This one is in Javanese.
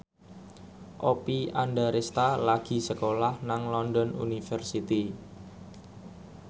Oppie Andaresta lagi sekolah nang London University